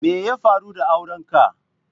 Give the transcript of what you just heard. Me ya faru da auren ka?